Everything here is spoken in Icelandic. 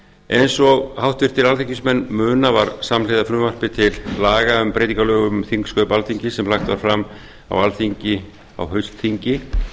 eins og háttvirtir alþingismenn muna var samhliða frumvarpi til laga um breytingu á lögum um þingsköp alþingis sem lagt var fram á alþingi á haustþingi